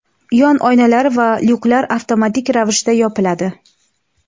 yon oynalar va lyuklar avtomatik ravishda yopiladi.